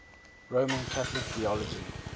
roman catholic theology